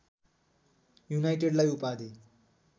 युनाइटेडलाई उपाधि